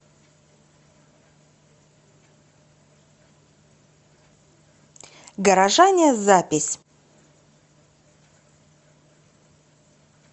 горожане запись